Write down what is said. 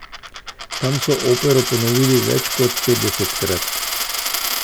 Tam so opero ponovili več kot petdesetkrat.